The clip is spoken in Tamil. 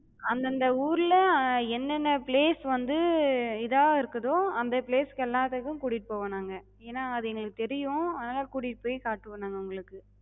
அந்தந்த ஊர்ல ஹம் என்னென்ன place வந்து இதா இருக்குதோ, அந்த place கு எல்லாத்துக்கு கூட்டிட்டுப் போவோ நாங்க. ஏனா அது எங்களுக்குத் தெரியு அதனால கூட்டிட்டு போய்க் காட்டுவோ நாங்க உங்களுக்கு.